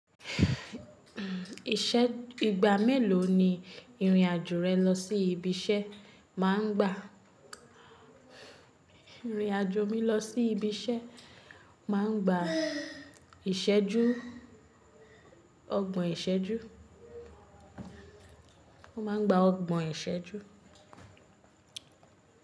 Ìṣẹ́, ìgbà mélòó ni ìrìn àjò rẹ lọ sí ibi iṣẹ́ máa ń gbà? Ìrìn àjò mi lọ sí ibi iṣẹ́ máa ń gba ìṣẹ́jú, ọgbọ̀n ìṣẹ́jú. Wọ́n máa ń gba ọgbọ̀n ìṣẹ́jú.